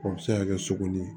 O bɛ se ka kɛ sogo ni